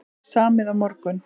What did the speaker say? Samið á morgun